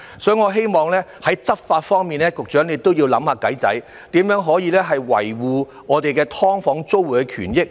所以，我希望局長在執法方面都要想方法，看看如何可以維護"劏房"租戶的權益。